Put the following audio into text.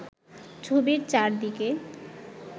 ছবির চারিদিকে